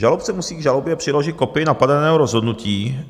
Žalobce musí k žalobě přiložit kopii napadeného rozhodnutí.